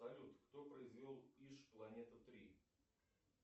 салют кто произвел иж планета три